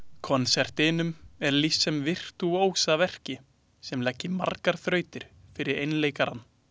Konsertinum er lýst sem virtúósaverki sem leggi margar þrautir fyrir einleikarann.